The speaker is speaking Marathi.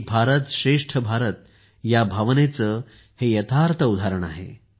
एक भारत श्रेष्ठ भारत या भावनेचे हे यथार्थ उदाहरण आहे